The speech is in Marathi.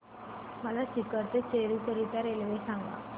मला सीकर ते चुरु करीता रेल्वे सांगा